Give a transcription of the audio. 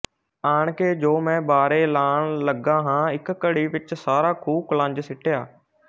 ਆਣ ਕੇ ਜੋ ਮੈਂ ਬਾਰੇ ਲਾਣ ਲਗਾ ਹਾਂ ਇਕ ਘੜੀ ਵਿਚ ਸਾਰਾ ਖੂਹ ਕੁਲੰਜ ਸਿਟਿਆ